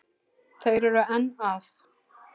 Þeir eru enn að.